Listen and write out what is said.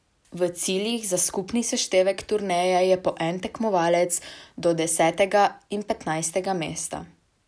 V ciljih za skupni seštevek turneje je po en tekmovalec do desetega in petnajstega mesta.